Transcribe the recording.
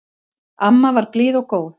Amma var blíð og góð.